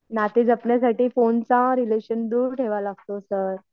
नाते जपण्यासाठी फोनचा रिलेशन दूर ठेवावा लागतो सर